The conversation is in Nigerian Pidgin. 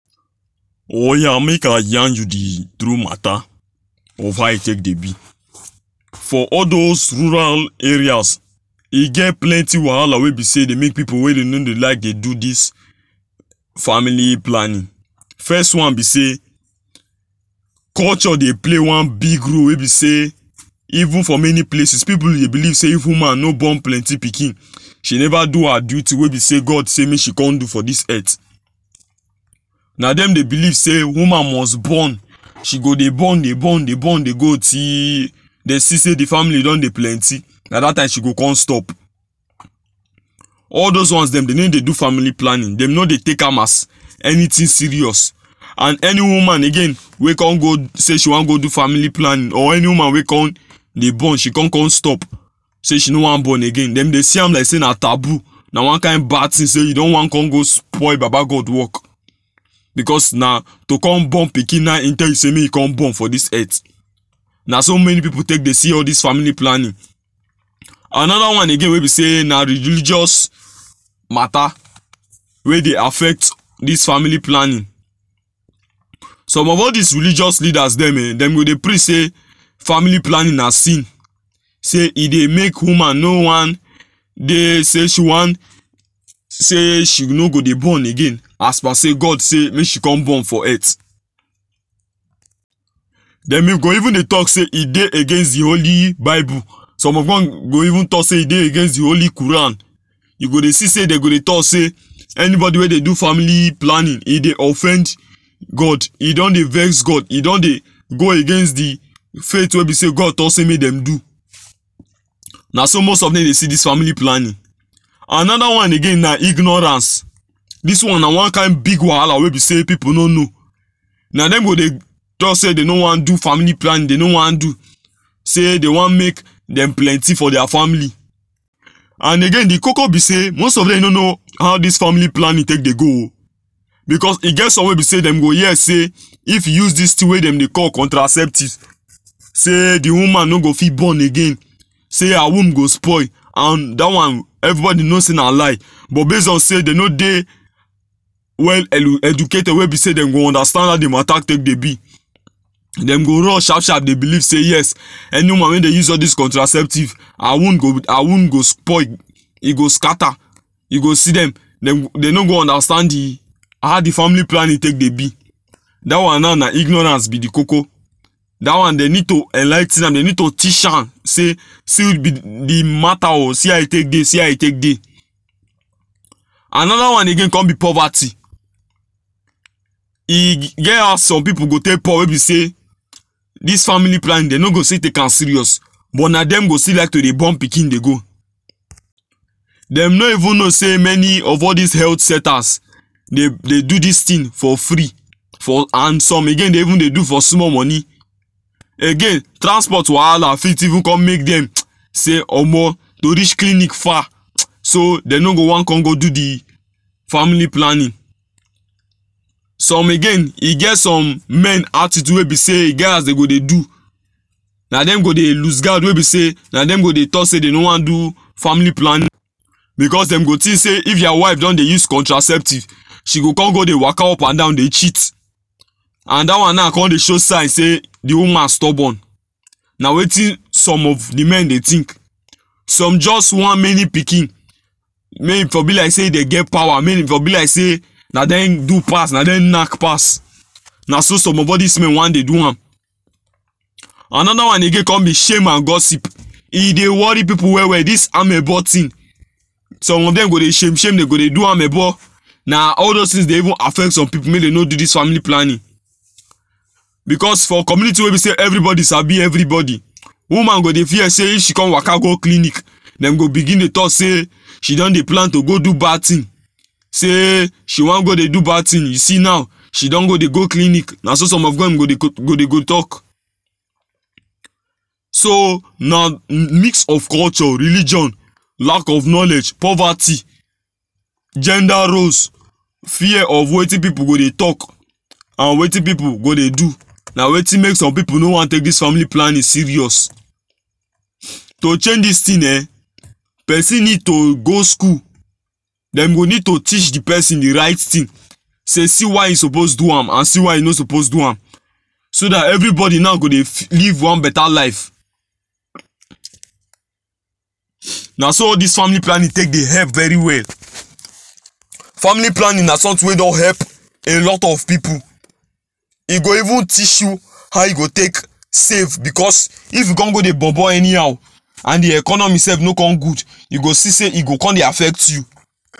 Oya make i yarn you di true mata of how e take dey be for all those rural areas e get plenty wahala wey be sey e dey make pepul wey dey no dey like dey do dis family planning fes one be sey culture dey play one big role wey be sey even for many places pipul dey believe sey even man no born plenty pikin she neva do her duty we be sey God sey make she con do for dis earth na dem dey believe sey woman must born she go dey born dey born dey born dey go til den see sey di family don dey plenty na dat time she go con stop all dos ones dem no dey do family planning, dem no dey take am as anytin serious and any woman again wey con go sey she wan go do family planning or any woman wey con dey born she con com stop sey she no wan born again, dem dey see am like sey na taboo na one kind bad tin sey you don wan con go spoil baba God work becos na to con born pikin na im tell you make you come born for dis earth naso many pipul take dey see all dis family planning anoda one again wey be say na religious mata wey dey affect dis family planning some of all dis religious leaders dem eh, dem go dey preach sey family planning na sin sey e dey make woman no wan dey say she wan say she no go dey born again as per sey God say make she com born for earth dem e go even dey talk say e dey against di Holy Bible som of us go even dey talk say e dey against di Holy Quran you go dey see say dey go dey talk sey anybody wey dey do family planning e dey offend God e don dey vex God e don dey go against di faith wey be say God tok say mey dem do naso most of dem dey see dis family planning anoda one again na ignorance, dis one na one kind big wahala wey be sey pipul no know na dem go dey tok say dey no wan do family planning dey no wan do sey dey wan make dem plenty for dia family and again di koko be sey most of dem no know how dis family planning take dey go o becos e get some wey be sey dem go hear say if you use dis tin wey dem dey call contraceptive say di woman no go fit born again say her womb go spoil and dat one everybody know say na lie but base on sey dey no dey well elu educated wey be sey dem go understand how di mata dey be dem go run sharp sharp dey believe say yes any woman wey dey use all dis contraceptive her womb go her womb go spoil e go scatter you go see dem dem no go understand di how di family planning take dey be dat one naw na ignorance be di koko dat one dey need to enligh ten am dey need to teach am say see di mata o see how e take dey see how e take dey anoda one again com be poverty e get how some pipu go take poor wey be sey dis family planning den no go still take am serious but na dem go still like to dey born pikin dey go dem no even know say many of all dis health centers dey dey do dis tin for free for and some again dey even dey do for small money again transport wahala fit even com make dem say omo to reach clinic far so dey no go wan con go do di family planning some again e get some men attitude wey be say e get as dey go dey do na dem go dey loose guard wey be say na dem go dey talk say dey no wan do family plan because dem go think say if their wife done dey use contraceptic she go come go dey waka up and down dey cheat and dat one now come dey show sign say di woman stubborn na weytin some of di men dey think some jus wan many pikin mey e for be like say dem get power mey e for be like say na dem do pass na dem knack pass na so some of all dis men wan dey do am. Anoda one again come be shame and gossip e dey worry people well well dis amebo tin some of dem go dey shame shame dey go dey do amebo na all those tin dey even affect some people make dem no do dis family planning becos for community wey be sey everybody sabi everybody woman go dey fear sey if she come waka go clinic dem go begin dey talk say she don dey plan to go do bad tin sey she wan go dey do bad thing you see now she don go dey go clinic na so some of dem go dey go talk so na mix of culture, religion lack of knowledge, poverty gender roles, fear of wetin people go dey talk and wetin people go dey do na wetin make some people no wan take dis family planning serioua to change dis tin eh pesin need to go skul dem go need to teach di pesin di right tin sey see why e suppose do am and see why e no suppose do am so dat everybody now go dey live one better life na so all dis family planning take dey hep very well family planning na sometin wey don hep a lot of pipu e go even teach you how you go take save because if you con go dey bobo anyhow and di economy sef no con good you go see say e go con dey affect you